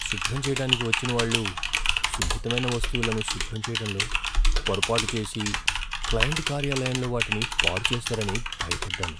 శుభ్రం చెయ్యటానికి వచ్చినవాళ్ళు సున్నితమైన వస్తువులను శుభ్రం చేయడంలో పొరపాటు చేసి క్లయింట్ కార్యాలయంలో వాటిని పాడుచేస్తారని భయపడ్డాను.